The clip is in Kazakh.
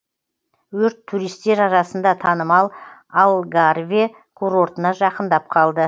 өрт туристер арасында танымал алгарве курортына жақындап қалды